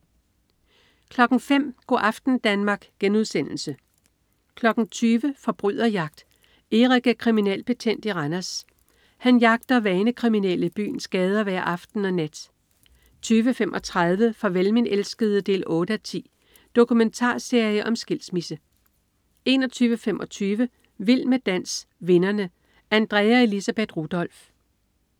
05.00 Go' aften Danmark* 20.00 Forbryderjagt. Erik er kriminalbetjent i Randers. Han jagter vanekriminelle i byens gader hver aften og nat 20.35 Farvel min elskede 8:10. Dokumentarserie om skilsmisse 21.25 Vild med dans, vinderne. Andrea Elisabeth Rudolph